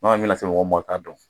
bɛna se mɔgɔ min ma o t'a dɔn